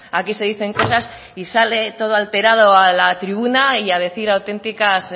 aquí se dicen cosas y sale todo alterado a la tribuna y a decir auténticas